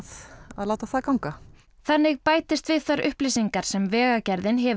láta það ganga þannig bætist við þær upplýsingar sem Vegagerðin hefur